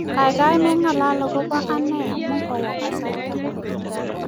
kaikai meng'alal akobo anee amu kawo kasarta